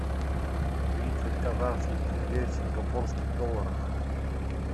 тридцать казахских тенге в сингапурских долларах